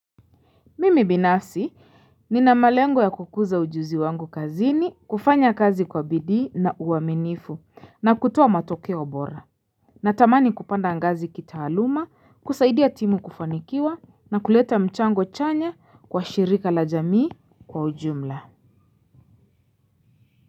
Mimi binafsi ni na malengo ya kukuza ujuzi wangu kazini, kufanya kazi kwa bidi na uwaminifu, na kutuwa matokea obora. Na tamani kupanda angazi kita aluma, kusaidia timu kufanikiwa, na kuleta mchango chanya kwa shirika la jamii kwa ujumla.